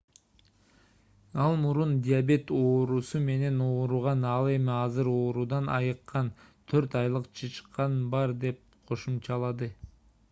ал мурун диабет оорусу менен ооруган ал эми азыр оорудан айыккан 4 айлык чычкан бар деп кошумчалады